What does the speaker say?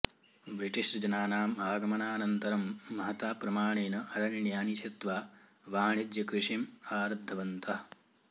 ब्रिटिशजनानाम् आगमनानन्तरं महता प्रमाणेन अरण्यानि छित्त्वा वाणिज्यकृषिम् आरब्धवन्तः